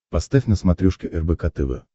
поставь на смотрешке рбк тв